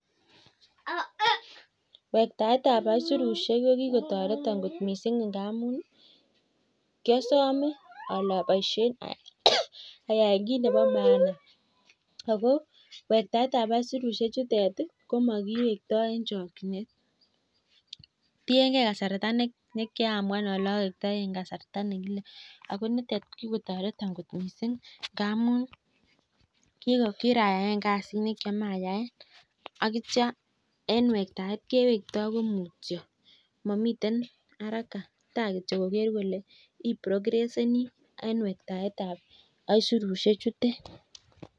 Wektaet ab aisurushek ko kigotoreton kot mising ngamunkiosome ole oboishen ayaen kit nebo maana ago wektaet ab aisurushek chutet komakiwektoi en chokinet. Tienge kasarta ne kamuan ole owektoi en kasarta nekile. Ago nitet ko kigotoreton kot mising ngamun kirayaen kasit ne kiomoche ayaen ak kitoy en wektaet kewekto komutyo momiten haraka ta kityo koger kole iprogresseni en wektaet ab aisurushek chutet.